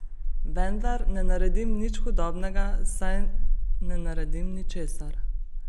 Vendar ne naredim nič hudobnega, saj ne naredim ničesar.